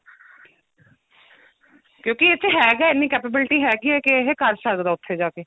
ਕਿਉਂਕਿ ਇੱਥੇ ਹੈਗਾ ਇੰਨੀ capability ਹੈਗੀ ਹੈ ਕਿ ਇਹ ਕਰ ਸਕਦਾ ਉੱਥੇ ਜਾਕੇ